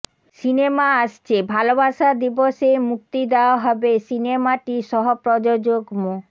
cinema আসছে ভালোবাসা দিবসে মুক্তি দেওয়া হবে সিনেমাটির সহপ্রযোজক মো